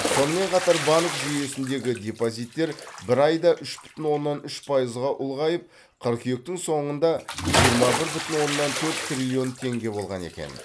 сонымен қатар банк жүйесіндегі депозиттер бір айда үш бүтін оннан үш пайызға ұлғайып қыркүйектің соңында жиырма бір оннан төрт триллион теңге болған екен